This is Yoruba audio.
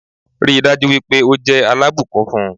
Ríi dájú wípé o jẹ́ alábùkún fún